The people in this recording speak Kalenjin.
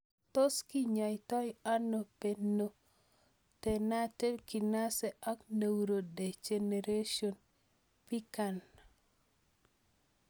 Tos kinyaitoi ano pantothenate kinase ak neurodegeneration (PKAN)